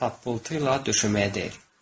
Tap-pıltı ilə döşəməyə dəyir.